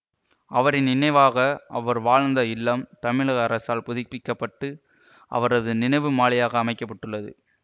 அவரின் நினைவாக அவர் வாழ்ந்த இல்லம் தமிழக அரசால் புதுப்பிக்க பட்டு அவரது நினைவு மாளிகையாக அமைக்க பட்டுள்ளது